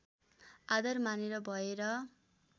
आधार मानेर भएर